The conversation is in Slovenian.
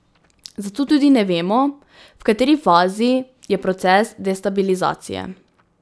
Zato tudi ne vemo, v kateri fazi je proces destabilizacije.